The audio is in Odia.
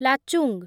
ଲାଚୁଂ